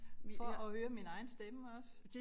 For at høre min egen stemme også